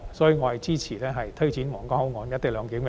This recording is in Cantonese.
所以，我支持推展皇崗口岸"一地兩檢"。